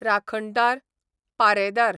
राखणदार, पारेदार